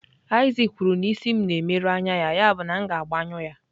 Isaac kwuru na isi m na-emerụ anya ya, yabụ na m ga-agbanyụ ya.